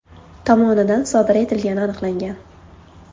tomonidan sodir etilgani aniqlangan.